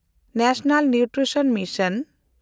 national nutrition mission